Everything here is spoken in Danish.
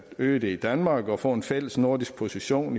øge det i danmark og få en fællesnordisk position